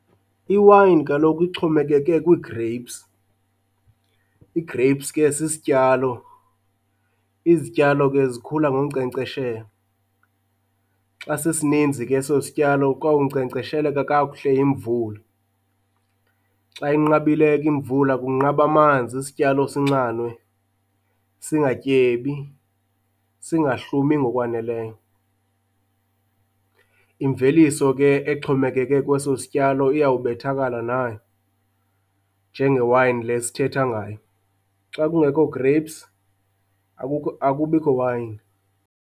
Iwayini kaloku ixhomeke kwii-grapes. I-grapes ke sisityalo, izityalo ke zikhula ngonkcenkceshelwa. Xa sisininzi ke eso sityalo kwawunkcenkcesheleka kakuhle yimvula. Xa inqabile ke imvula, kunqaba amanzi isityalo sinxanwe singatyebi, singahlumi ngokwaneleyo. Imveliso ke exhomekeke kweso sityalo iyobethakala nayo njengewayini le sithetha ngayo. Xa kungekho grapes akukho akubikho wayini.